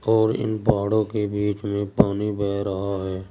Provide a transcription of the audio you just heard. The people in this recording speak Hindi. और इन पहाड़ों के बीच में पानी बह रहा है।